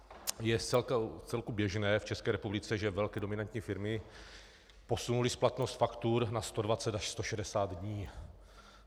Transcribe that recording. Je vcelku běžné v České republice, že velké dominantní firmy posunuly splatnost faktur na 120 až 160 dní.